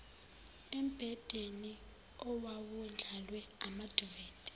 embhedeni owawundlalwe amaduvethi